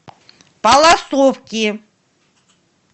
палласовки